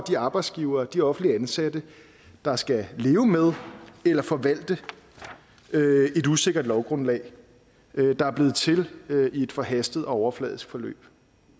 de arbejdsgivere de offentligt ansatte der skal leve med eller forvalte et usikkert lovgrundlag der er blevet til i et forhastet og overfladisk forløb